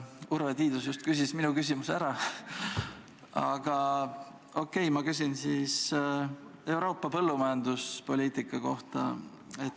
Urve Tiidus küsis minu küsimuse ära, aga okei, ma küsin siis Euroopa põllumajanduspoliitika kohta.